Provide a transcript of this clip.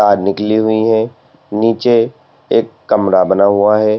तार निकली हुई है नीचे एक कमरा बना हुआ है।